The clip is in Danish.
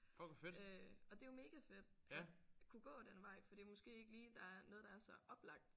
Og det er jo mega fedt at kunne gå den vej for det måske ikke lige der noget der er så oplagt